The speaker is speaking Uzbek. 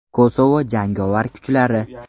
Kosovo jangovar kuchlari.